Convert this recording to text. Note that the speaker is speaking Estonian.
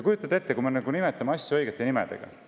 Kujutage ette, kui me nimetaks asju õigete nimedega.